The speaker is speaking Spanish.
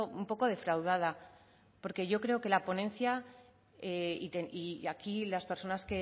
un poco defraudada porque yo creo que la ponencia y aquí las personas